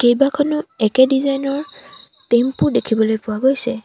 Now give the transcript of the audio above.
কেইবাখনো একে ডিজাইন ৰ টেম্পো দেখিবলৈ পোৱা গৈছে।